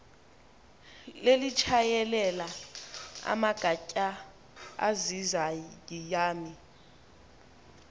lelitshayelela amagatya azizayami